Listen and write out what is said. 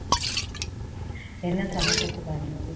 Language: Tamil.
என்ன சமைச்ச சுதா இன்னைக்கு